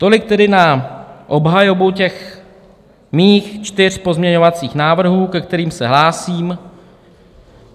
Tolik tedy na obhajobu těch mých čtyř pozměňovacích návrhů, ke kterým se hlásím.